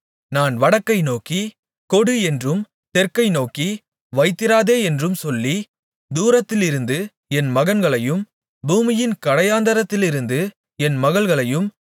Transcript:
நான் வடக்கை நோக்கி கொடு என்றும் தெற்கை நோக்கி வைத்திராதே என்றும் சொல்லி தூரத்திலிருந்து என் மகன்களையும் பூமியின் கடையாந்தரத்திலிருந்து என் மகள்களையும்